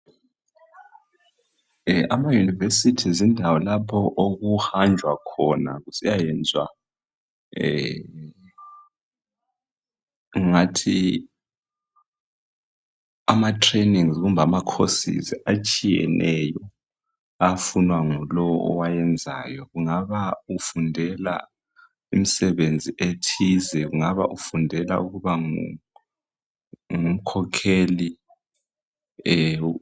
Ama universities yindawo lapho okuhanjwa khona kusiyayenzwa ngingathi ama trainings kumbe ama courses atshiyeneyo afunwa ngulowo owayenzayo. Kungaba ufundela imisebenzi ethize kungaba ufundela ukuba ngumkhokheli.